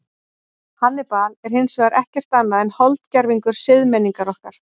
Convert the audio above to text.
Hannibal er hins vegar ekkert annað en holdgervingur siðmenningar okkar.